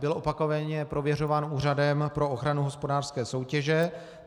Byl opakovaně prověřován Úřadem pro ochranu hospodářské soutěže.